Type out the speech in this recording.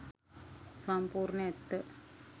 සම්පූර්ණ ඇත්ත